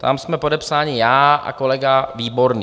Tam jsme podepsáni já a kolega Výborný.